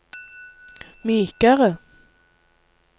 mykere